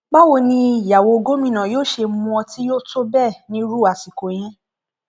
báwo ni ìyàwó gómìnà yóò ṣe mu ọtí yó tó bẹẹ nírú àsìkò yẹn